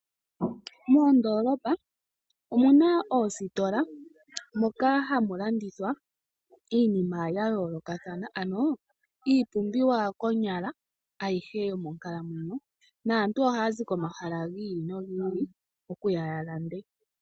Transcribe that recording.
Moondoolopa omu na oositola moka hamu landithwa iinima ya yoolokathana iipumbiwa konyala ayihe yomonkalamwenyo naantu ohaya zi komahala gi ili nogi ili okuya ya lande.